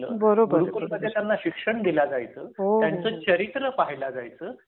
बरोबर.गुरुकुल मध्ये त्यांना शिक्षण दिल जायच. हो चरित्र पहिला जायच